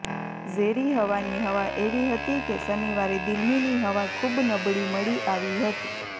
ઝેરી હવાની હવા એવી હતી કે શનિવારે દિલ્હીની હવા ખૂબ નબળી મળી આવી હતી